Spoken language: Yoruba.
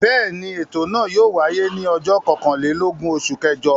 Bẹ́ẹ̀ ni, ètò náà yóò wáyé ní ọjọ́ kọkànlélógún oṣù kẹjọ.